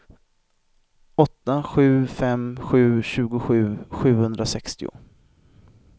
åtta sju fem sju tjugosju sjuhundrasextio